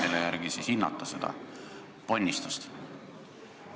Mille järgi siis seda ponnistust hinnata?